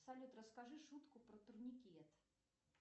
салют расскажи шутку про турникет